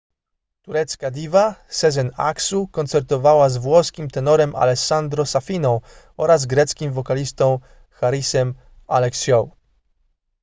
turecka diwa sezen aksu koncertowała z włoskim tenorem alessandro safiną oraz greckim wokalistą harisem alexiou